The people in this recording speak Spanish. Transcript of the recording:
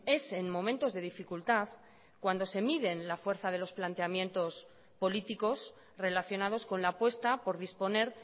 es en momentos de dificultad cuando se miden la fuerza de los planteamientos políticos relacionados con la apuesta por disponer